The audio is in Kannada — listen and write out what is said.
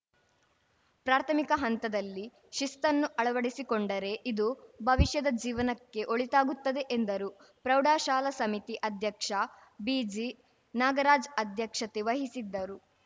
ಪ್ರಾರ್ಥಮಿಕ ಹಂತದಲ್ಲಿ ಶಿಸ್ತನ್ನು ಅಳವಡಿಸಿಕೊಂಡರೆ ಇದು ಭವಿಷ್ಯದ ಜೀವನಕ್ಕೆ ಒಳಿತಾಗುತ್ತದೆ ಎಂದರು ಪ್ರೌಢಶಾಲಾ ಸಮಿತಿ ಅಧ್ಯಕ್ಷ ಬಿಜಿ ನಾಗರಾಜ್‌ ಅಧ್ಯಕ್ಷತೆ ವಹಿಸಿದ್ದರು